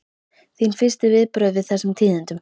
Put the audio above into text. Þín fyrstu viðbrögð við þessum tíðindum?